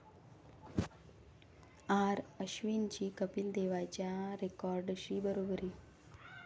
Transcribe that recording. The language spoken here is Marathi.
आर.अश्विनची कपिल देवच्या रेकॉर्डशी बरोबरी